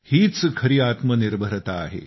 हीच खरी आत्मनिर्भरता आहे